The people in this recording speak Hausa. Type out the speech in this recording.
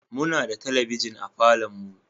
Muna da talabijin a falon mu